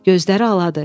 Gözləri aladır.